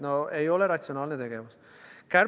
No see ei ole ratsionaalne tegevus!